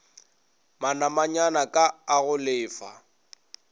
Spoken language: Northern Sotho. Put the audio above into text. manamanyana k a go lefa